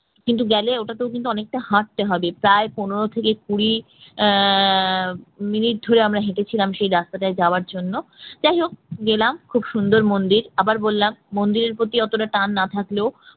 কিন্তু গেলে ওটাতেও অনেক হাঁটতে হবে প্রায় পনের থেকে কুড়ি আহ মিনিট ধরে আমরা হেঁটেছিলাম সেই রাস্তাটায় যাওয়ার জন্য যাই হোক গেলাম খুব সুন্দর মন্দির আবার বললাম মন্দিরের প্রতি অতটা টান না থাকলেও